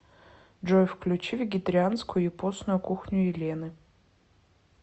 джой включи вегетарианскую и постную кухню елены